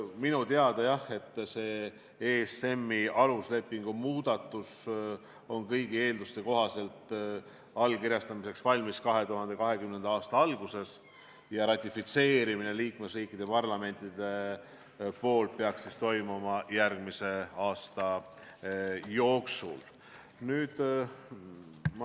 Minu teada, jah, ESM-i aluslepingu muudatus on kõigi eelduste kohaselt allkirjastamiseks valmis 2020. aasta alguses ja ratifitseerimine liikmesriikide parlamentides peaks toimuma järgmise aasta jooksul.